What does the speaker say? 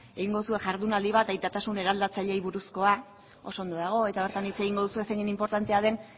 egin duzue jardunaldi bat aitatasun eraldatzaileei buruzkoa oso ondo dago eta bertan hitz egingo duzue zeinen inportantea den